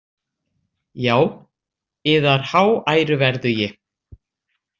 Já, yðar háæruverðugi